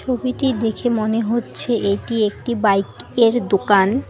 ছবিটি দেখে মনে হচ্ছে এটি একটি বাইক -এর দোকান।